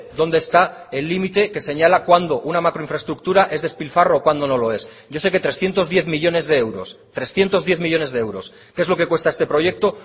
dónde está el límite que señala cuándo una macro infraestructura es despilfarro o cuándo no lo es yo sé que trescientos diez millónes de euros trescientos diez millónes de euros que es lo que cuesta este proyecto